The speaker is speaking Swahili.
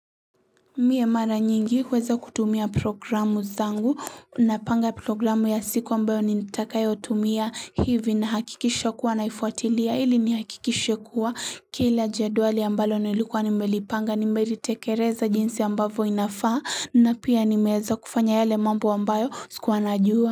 Mie mara nyingi huweza kutumia programu zangu napanga programu ya siku ambayo nitakayo tumia hivi na hakikisha kuwa naifuatilia hili ni hakikisha kuwa kila jedwali ambalo nilikuwa nimelipanga nimelitekeleza jinsi ambayo inafaa na pia nimeeza kufanya yele mambo ambayo sikuwa najua.